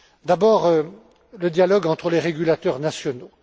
D'abord, le dialogue entre les régulateurs nationaux.